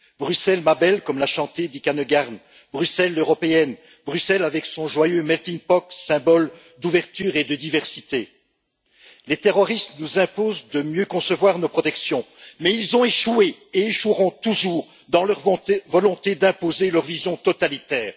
Bruxelles, ma belle comme l'a chanté Dick Annegarn, Bruxelles l'européenne, Bruxelles avec son joyeux melting pot, symbole d'ouverture et de diversité. Les terroristes nous imposent de mieux concevoir nos protections, mais ils ont échoué et échoueront toujours dans leur volonté d'imposer leur vision totalitaire.